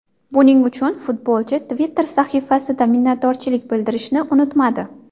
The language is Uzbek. Buning uchun futbolchi Twitter sahifasida minnatdorchilik bildirishni unutmadi.